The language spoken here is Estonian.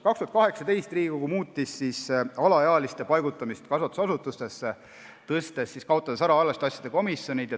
2018. aastast muutis Riigikogu alaealiste kasvatusasutustesse paigutamise korda, kaotades ära alaealiste asjade komisjonid.